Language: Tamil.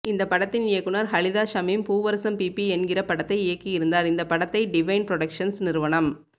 இந்த படத்தின் இயக்குநர் ஹலிதா ஷமீம் பூவரசம் பீபீ என்கிற படத்தை இயக்கியிருந்தார் இந்த படத்தை டிவைன் ப்ரொடக்ஷன்ஸ் நிறுவனம்